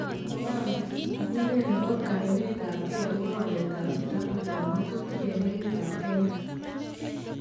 Mogambi: Amunee nebo kaninet ab kee akobo waleet ab kitabuut ab ng'atutik en emet ab Kenya